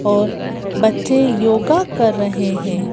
और बच्चे योगा कर रहे हैं।